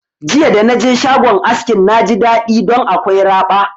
Jiya da naje shagon askin na ji daɗi ɗon akwai raba